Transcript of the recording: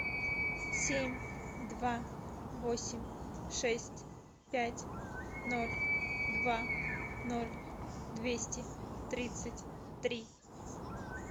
семь два восемь шесть пять ноль два ноль двести тридцать три